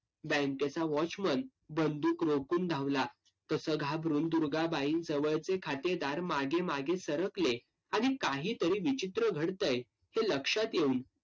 बँकेचा watchman बंदूक रोखून धावला. तसं घाबरून दुर्गाबाईंजवळचे खातेदार मागे मागे सरकले. आणि काहीतरी विचित्र घडतंय, हे लक्षात येऊन